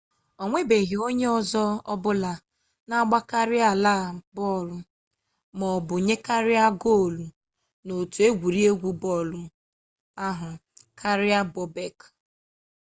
o nwebeghị onye ọzọ ọbụla na-agbakarịala bọọlụ maọbụ nyekarịa goolụ n'otu egwuregwu bọọlụ ahụ karịa bobek